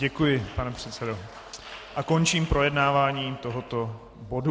Děkuji, pane předsedo, a končím projednávání tohoto bodu.